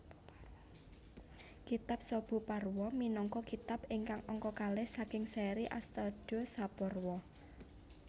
Kitab Sabhaparwa minangka kitab ingkang angka kalih saking séri Astadasaparwa